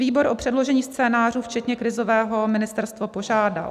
Výbor o předložení scénářů včetně krizového ministerstvo požádal.